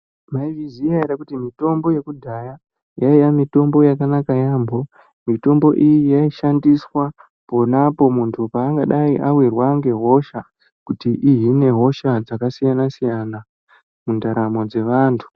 Maizviziya ere kuti mitombo yekudhaya yaiya mitombo yakanaka yamho mitombo iyi yaishandiswa ponapo muntu paangadai awirwa ngehosha kuti ihine hosha dzakasiyana siyana mundaramo dzevantu.